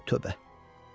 Ay tövbə.